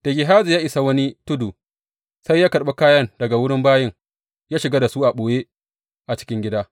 Da Gehazi ya isa wani tudu, sai ya karɓi kayan daga wurin bayin ya shiga da su a ɓoye a cikin gida.